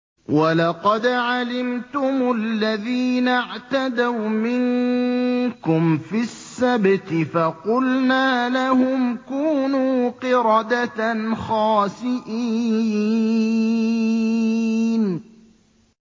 وَلَقَدْ عَلِمْتُمُ الَّذِينَ اعْتَدَوْا مِنكُمْ فِي السَّبْتِ فَقُلْنَا لَهُمْ كُونُوا قِرَدَةً خَاسِئِينَ